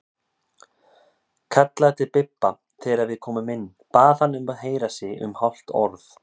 Kallaði til Bibba þegar við komum inn, bað hann að heyra sig um hálft orð.